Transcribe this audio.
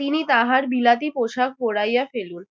তিনি তাহার বিলাতি পোষাক পোড়াইয়া ফেলুন।